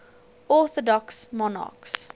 orthodox monarchs